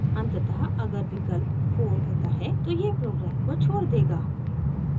अंततः अगर विकल्प 4 होता है तो यह प्रोग्राम को छोड़ देगा